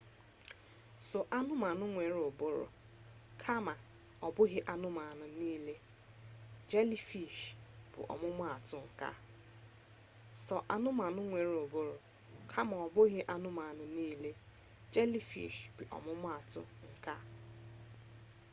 sọ anụmanụ nwere ụbụrụ kama ọbụghị anụmanụ nile; jelifish bụ ọmụma atụ nke a